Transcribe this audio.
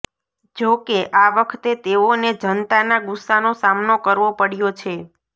જો કે આ વખતે તેઓને જનતાના ગુસ્સાનો સામનો કરવો પડ્યો છે